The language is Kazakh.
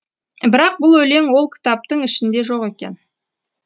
бірақ бұл өлең ол кітаптың ішінде жоқ екен